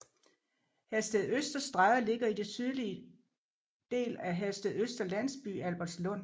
Herstedøsterstræde ligger i det sydlige del af Herstedøster Landsby i Albertslund